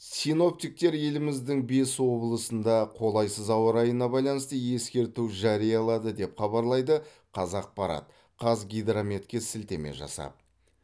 синоптиктер еліміздің бес облысында қолайсыз ауа райына байланысты ескерту жариялады деп хабарлайды қазақпарат қазгидрометке сілтеме жасап